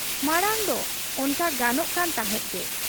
ᱢᱟᱬᱟᱝᱫᱚ ᱚᱱᱠᱟ ᱜᱟᱱᱚᱜ ᱠᱟᱱ ᱛᱟᱦᱮᱸᱫ ᱜᱮ ᱾